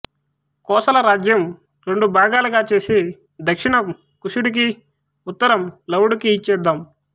కోసల రాజ్యం రెండుభాగాలు చేసి దక్షిణం కుశుడికి ఉత్తరం లవుడుకి ఇచ్చేద్దాం